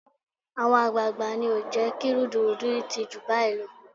Àwọn àgbààgbà ni ò jẹ́ kí rúdurùdu yìí ti jù báyìí lọ